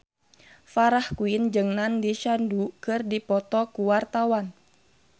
Farah Quinn jeung Nandish Sandhu keur dipoto ku wartawan